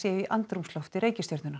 í andrúmslofti reikistjörnunnar